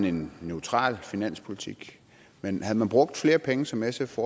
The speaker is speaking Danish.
en neutral finanspolitik men havde man brugt flere penge som sf